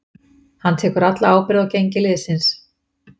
Hann tekur alla ábyrgð á gengi liðsins.